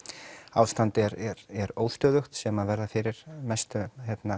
ástandið er er óstöðugt sem verða fyrir mestum